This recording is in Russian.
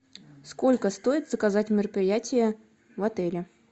сколько стоит заказать мероприятие в отеле